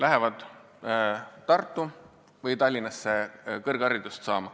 Lähevad Tartusse või Tallinnasse kõrgharidust saama.